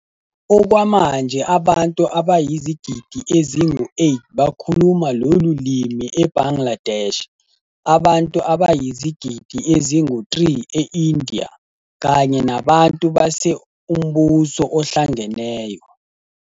Okwamanje, abantu abayizigidi ezingu-8 bakhuluma lolu limi e-Bangladesh, abantu abayizigidi ezingu-3 e-India, kanye nabantu base Umbuso Ohlangeneyo.